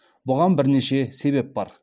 бұған бірнеше себеп бар